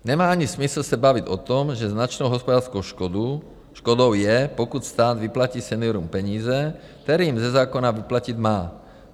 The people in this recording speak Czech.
Nemá ani smysl se bavit o tom, že značnou hospodářskou škodou je, pokud stát vyplatí seniorům peníze, které jim ze zákona vyplatit má.